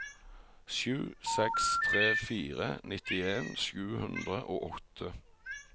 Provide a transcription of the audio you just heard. sju seks tre fire nittien sju hundre og åtte